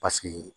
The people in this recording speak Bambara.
Paseke